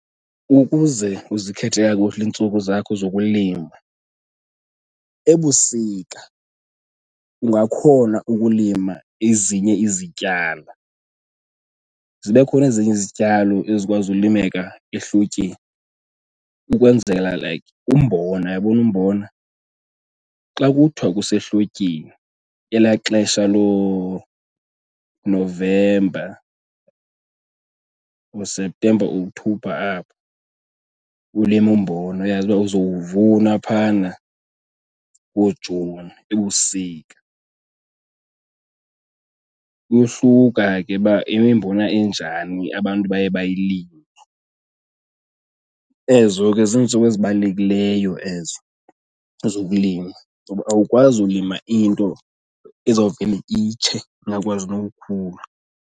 Ukuze uzikhethe kakuhle iintsuku zakho zokulima ebusika ungakhona ukulima ezinye izityala. Zibe khona ezinye izityalo ezikwazi ulimeka ehlotyeni ukwenzela like umbona. Uyabona umbona, xa kuthiwa kusehlotyeni elaa xesha looNovemba, ooSeptemba, Okthobha apho, ulime umbona uyazi uba uzowuvuna phana ngooJuni ebusika. Kuyohluka ke uba imimbona enjani abantu abaye bayilime. Ezo ke ziintsuku ezibalulekileyo ezo zokulima ngoba awukwazi ulima into ezawuvele itshe ingakwazi nokukhula.